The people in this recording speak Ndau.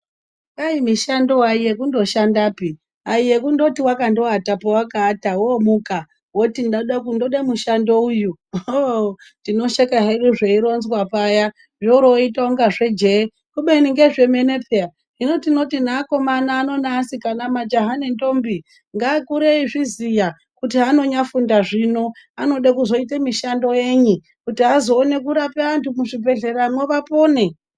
Dai mishando ayi yokunoshandapi ayi ekundoti wakandoata pawakaata womuka woti ndode mushando uyu tinosheka hedu zve wanzwa paya yoroyita zvejehe kubeni ngezve menepweya zvino tinoti naakomana noasikana majaha nenthombi ngaakure eyizviziya kuti anonyafunda zvino anode kuzoita mishando yenyi kuti azowane kurape antu muzvibhedhleya umo vapone